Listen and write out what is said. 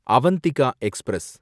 Avantika express